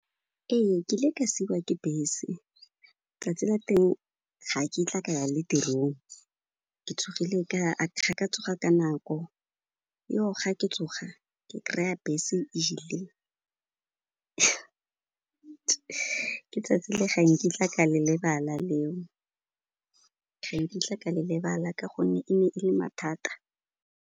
Ee, ke ile ka siiwa ke bese. Tsatsi la teng ga kitla ka ya le tirong, ga ka tsoga ka nako. Ga ke tsoga, ke kry-a bese e ile ke tsatsi le ga nkitla ka le lebala leo, ga nkitla ka le lebala ka gonne e ne e le mathata.